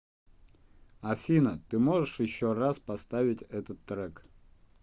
афина ты можешь еще раз поставить этот трек